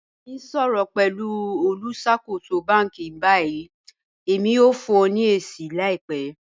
Mọ̀ n ṣọ̀rọ̀ pẹ̀lú olùṣakòsò bánkì ní báyì, èmi yóò fún ọ̀ ní èṣì làìpẹ́.